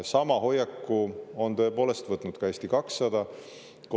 Sama hoiaku on tõepoolest võtnud ka Eesti 200.